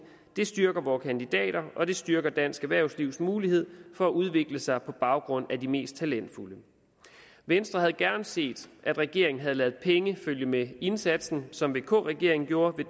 det styrker vores kandidater og det styrker dansk erhvervslivs mulighed for at udvikle sig på baggrund af de mest talentfulde venstre havde gerne set at regeringen havde ladet penge følge med indsatsen som vk regeringen gjorde med